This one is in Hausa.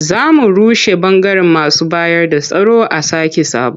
Za a rushe ɓangaren masu bayarda tsaro a sake sabo.